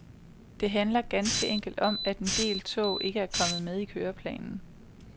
Det handler ganske enkelt om, at en del tog ikke er kommet med i køreplanen.